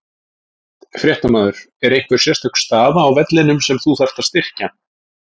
Fréttamaður: Er einhver sérstök staða á vellinum sem þú þarft að styrkja?